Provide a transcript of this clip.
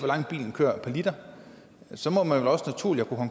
langt bilen kører per liter så må man vel også naturligt